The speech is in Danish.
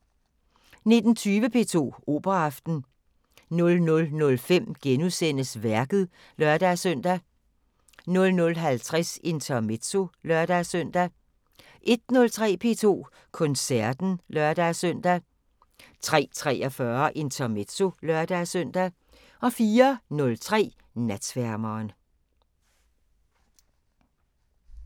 19:20: P2 Operaaften 00:05: Værket *(lør-søn) 00:50: Intermezzo (lør-søn) 01:03: P2 Koncerten (lør-søn) 03:43: Intermezzo (lør-søn) 04:03: Natsværmeren